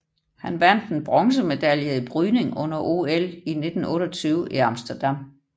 Han vandt en bronzemedalje i brydning under OL 1928 i Amsterdam